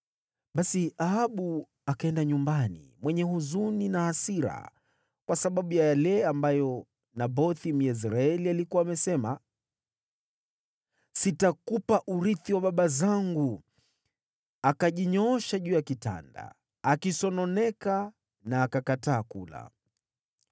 Basi Ahabu akaenda nyumbani, mwenye huzuni na hasira kwa sababu ya yale ambayo Nabothi, Myezreeli, alikuwa amesema, “Sitakupa urithi wa baba zangu.” Akajinyoosha juu ya kitanda akisononeka, na akakataa kula.